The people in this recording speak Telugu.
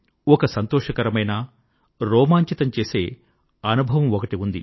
ఒక సంతోషకరమైన రోమాంచితం చేసే అనుభవమొకటి ఉంది